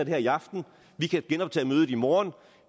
her i aften vi kan genoptage mødet i morgen